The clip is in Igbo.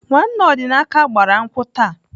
Nwanne Ọdịnaka gbara nkwụ taa.